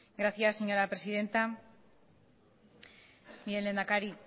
gracias señora presidenta mire lehendakari